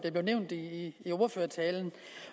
nævnt i ordførertalen